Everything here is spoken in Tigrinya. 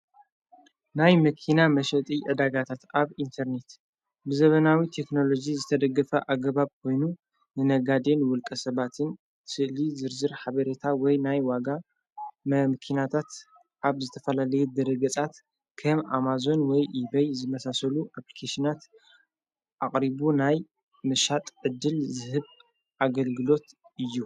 ናይ መኪና መሽጥ ኣዳጋታት ኣብ ኢንተርኔት ብዘበናዊ ቴክንሎዙ ዝተደግፋ ኣገባብ ኮይኑ ንነጋድን ውልቀ ሰባትን ትእሊ ዝርዝር ሓበሬታ ወይ ናይ ዋጋ መ ምኪናታት ኣብ ዝተፈላለየት ደረገጻት ከም ኣማዞን ወይ ኢበይ ዝመሳሰሉ ኣጵልቄስናት ኣቕሪቡ ናይ ምሻጥ ዕድል ዝህብ ኣገልግሎት እዩ።